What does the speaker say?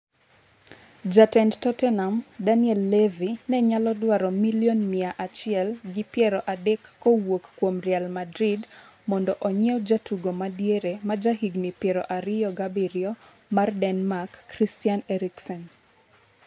Jatend Tottenham, Daniel Levy ne nyalo dwaro milion miya achiel gi piero adek kowuok kuom Real Madrid mondo onyiew jatugo ma diere ma jahigni pieron ariyo gi abiriyo mar Denmark, Christian Eriksen.